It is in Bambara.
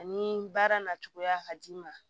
Ani baara na cogoya ka d'i ma